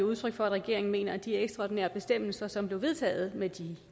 udtryk for at regeringen mener at de ekstraordinære bestemmelser som blev vedtaget med de